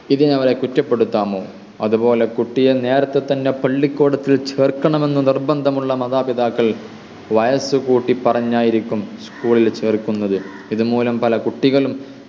ഇതിന് അവരെ കുറ്റപ്പെടുത്താമോ അതുപോലെ കുട്ടിയെ നേർത്തെ തന്നെ പള്ളിക്കൂടത്തിൽ ചേർക്കണം എന്ന് നിർബന്ധമുള്ള മാതാപിതാക്കൾ വയസ്സ് കൂട്ടി പറഞ്ഞായിരിക്കും school ൽ ചേർക്കുന്നത് ഇത് മൂലം പല കുട്ടികളും